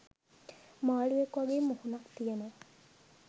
මාළුවෙක් වගේ මුහුණක් තියෙන